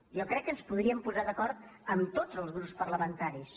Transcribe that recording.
jo crec que ens podríem posar d’acord amb tots els grups parlamen·taris